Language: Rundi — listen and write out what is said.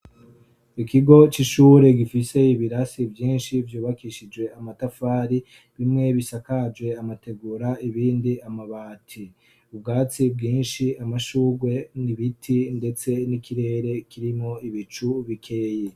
Ikigo c'ishure gifise ibirasi vyinshi vyubakishije amatafari ,bimwe bisakaje amategura .Ibindi amabati, ubwatsi bwinshi amashugwe n'ibiti ndetse n'ikirere kirimo ibicu bikeye.